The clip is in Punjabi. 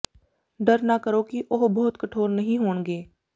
ਡਰ ਨਾ ਕਰੋ ਕਿ ਉਹ ਬਹੁਤ ਕਠੋਰ ਨਹੀਂ ਹੋਣਗੇ